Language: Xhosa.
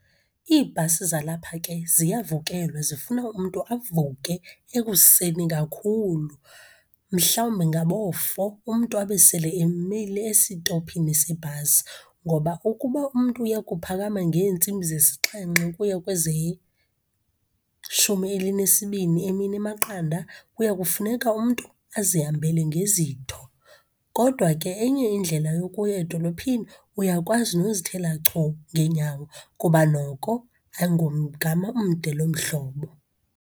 Iibhasi zalapha ke ziyavukelwa, zifuna umntu avuke ekuseni kakhulu. Mhlawumbi ngaboo-four umntu abe sele emile esitophini sebhasi. Ngoba ukuba umntu uya kuphakama ngeentsimbi zesixhenxe ukuya kwezeshumi elinesibini emini emaqanda, kuya kufuneka umntu azihambele ngezitho. Kodwa ke enye indlela yokuya edolophini uyakwazi nozithela chu ngeenyawo kuba noko ayingumgama umde loo mhlobo.